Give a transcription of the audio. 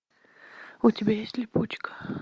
у тебя есть липучка